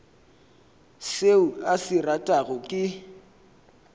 seo a se ratago ke